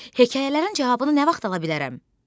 Hekayələrin cavabını nə vaxt ala bilərəm?